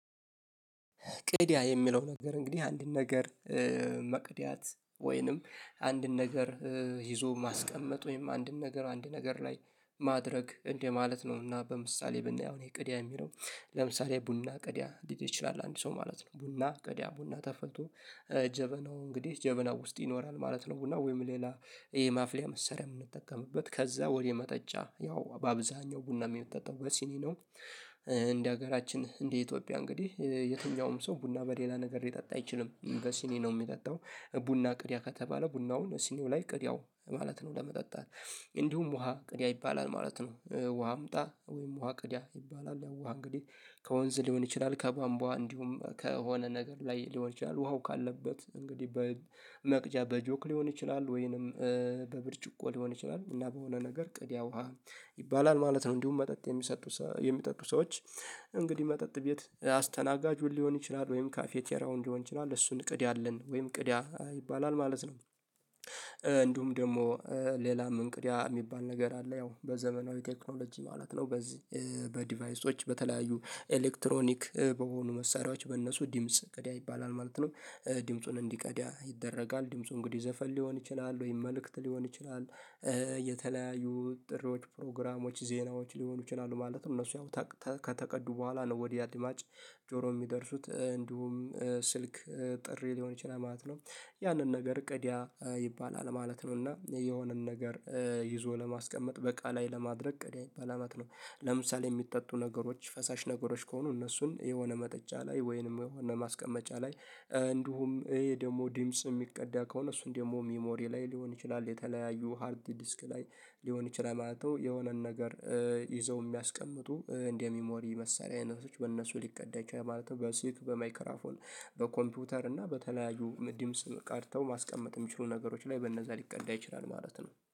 ቅድምያ የሚለው ነገር እንግዲህ አንድን ነገር መቅድያት ወይንም አንድን ነገር ይዞ ማስቀመጥ ወይም አንድን ነገር አንድ ነገር ላይ ማድረግ እንደ ማለት ነው። እና በምሳሌ ብናየው እኔ ቅዲያ የሚለው ለምሳሌ ቡና ቅዳ ሊል ይችላል አንድ ሰው ማለት ነው። ቡና ቅድያ ቡና ተፈልቶ ጀበናው እንግዲህ ጀበናው ውስጥ ይኖራል ማለት ነው። ቡና ወይም ሌላ ይሄ ማፍለያ መሳሪያ የምንጠቀምበት ከዛ ወደ መጠጫ ያው በአብዛኛው ቡና የሚጠጣው በሲኒ ነው። እንደ ሀገራችን እንደ ኢትዮጵያ እንግዲህ የትኛውም ሰው ቡና በሌላ ነገር ሊጠጣ አይችልም በሲኒ ነው የሚጠጣው። ቡና ቅድያ ከተባለ ቡናውን ሲኒው ላይ ቅድያው ማለት ነው። ለመጠጣት እንዲሁም ውሃ ቅድያ ይባላል ማለት ነው። ውሃ አምጣ ወይም ውሃ ቅድያ ይባላል። ያው ውሃ እንግዲህ ከወንዝ ሊሆን ይችላል ከባምቧ እንዲሁም ከሆነ ነገር ላይ ሊሆን ይችላል ውሃው ካለበት እንግዲህ በመቅጃ በጆክ ሊሆን ይችላል ወይንም በብርጭቆ ሊሆን ይችላል እና በሆነ ነገር ቅድያ ውሃ ይባላል ማለት ነው። እንዲሁም መጠጥ የሚሰጡ የሚጠጡ ሰዎች እንግዲህ መጠጥ ቤት አስተናጋጁን ሊሆን ይችላል ወይም ካፌ ቴራውን እንዲሆን ይችላል እሱን ቀቅዳልን ወይም ቅዳ ይባላል ማለት ነው። እንዲሁም ደሞ ሌላም እንቅዲያ የሚባል ነገር አለ ያው በዘመናዊ ቴክኖሎጂ ማለት ነው። በዚህ በዲቫይሶች በተለያዩ ኤሌክትሮኒክ በሆኑ መሳሪያዎች በእነሱ ዲምጽ ቀዳ ይባላል ማለት ነው። ዲምጹን እንዲቀዳ ይደረጋል ድምፁ እንግዲህ ዘፈን ሊሆን ይችላል ወይም መልእክት ሊሆን ይችላል። የተለያዩ ጥሪዎች ፕሮግራሞች ዜናዎች ሊሆኑ ይችላሉ ማለት ነው። እነሱንም ከተቀዱ በኋላ ነው ወዴ አድማጭ ጆሮ የሚደርሱት። እንዲሁም ስልክ ጥሪ ሊሆን ይችላል ማለት ነው። ያንን ነገር ቅድያ ይባላል ማለት ነው። እና የሆነን ነገር ይዞ ለማስቀመጥ በቃ ላይ ለማድረግ ቅዳ ይባላል ማለት ነው። ለምሳሌ የሚጠጡ ነገሮች ፈሳሽ ነገሮች ከሆኑ እነሱን የሆነ መጠጫ ላይ ወይንም የሆነ ማስቀመጫ ላይ። እንዲሁም ይሄ ደግሞ ዲምጽ የሚቀዳ ከሆነ እሱን ደግሞ ሚሞሪ ላይ ሊሆን ይችላል። የተለያዩ ሃርድ ዲስክ ላይ ሊሆን ይችላል ማለት ነው። የሆነን ነገር ይዘው የሚያስቀምጡ እንደ ሚሞሪ መሳሪያ አይነቶች በእነሱ ሊቀዳ ይችላል ማለት ነው። በሲክ በማይክራፎን በኮምፒውተር እና በተለያዩ ምድምፅ ቀድተው ማስቀመጥ ሚችሉ ነገሮች ላይ በእነዛ ሊቀዳ ይችላል ማለት ነው